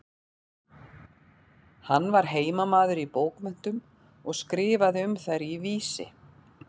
Hann var heimamaður í bókmenntum og skrifaði um þær í Vísi.